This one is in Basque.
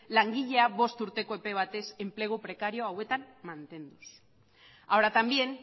langilea bost urteko epe batez enplegu prekario hauetan mantenduz ahora también